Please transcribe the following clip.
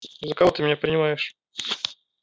за кого ты меня принимаешь